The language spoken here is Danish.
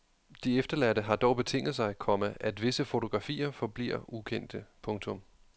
De efterladte har dog betinget sig, komma at visse fotografier forbliver ukendte. punktum